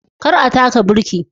Kar a taka birki